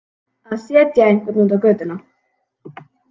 Að setja einhvern út á götuna